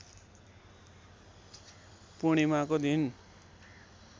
पूर्णिमाको दिन